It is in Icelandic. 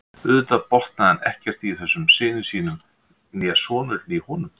Auðvitað botnaði hann ekkert í þessum syni sínum né sonurinn í honum.